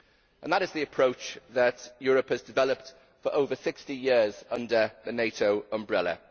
And that is the approach that Europe has developed for over 60 years under the NATO umbrella.